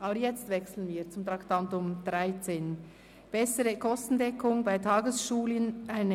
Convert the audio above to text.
Wir kommen zum Traktandum 13, der Motion «Bessere Kostendeckung bei Tagesschulen».